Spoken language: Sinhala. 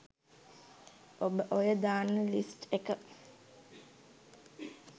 ඔබ ඔය දාන ලිස්ට් එක